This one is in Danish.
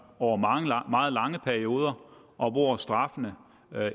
over meget lange perioder og hvor straffene